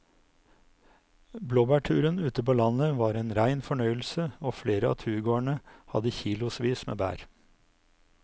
Blåbærturen ute på landet var en rein fornøyelse og flere av turgåerene hadde kilosvis med bær.